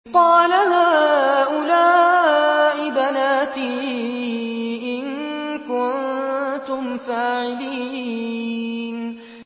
قَالَ هَٰؤُلَاءِ بَنَاتِي إِن كُنتُمْ فَاعِلِينَ